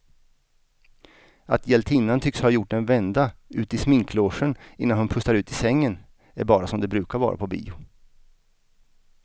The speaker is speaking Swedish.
Att hjältinnan tycks ha gjort en vända ut i sminklogen innan hon pustar ut i sängen är bara som det brukar vara på bio.